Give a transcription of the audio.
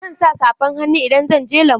Zan sa safan hannu idan zan je lambu.